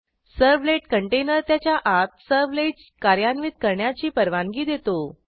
servlet container त्याच्या आतservletsकार्यान्वित करण्याची परवानगी देतो